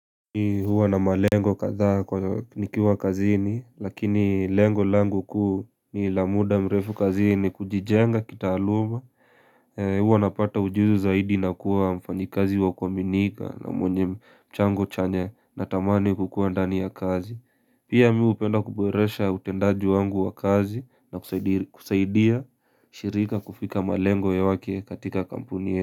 Ni huwa na malengo kadhaa kwa nikiwa kazini lakini lengo langu kuu ni la muda mrefu kazini kujijenga kitaluma huwa napata ujuzi zaidi na kuwa mfanyikazi wa kuaminika na mwenye mchango chenye natamani kukuwa ndani ya kazi Pia mi hupenda kuboresha utendaji wangu wa kazi na kusaidia shirika kufika malengo wake katika kampuni ya.